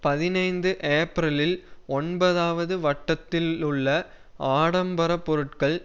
பதினைந்து ஏப்பிரலில் ஒன்பதுவது வட்டத்திலுள்ள ஆடம்பர பொருட்கள்